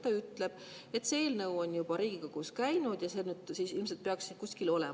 Ta ütleb, et see eelnõu on juba Riigikogus käinud, ja ilmselt see peaks siin kuskil olema.